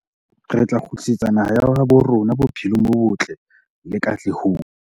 Re tla kgutlisetsa naha ya habo rona bophelong bo botle le katlehong.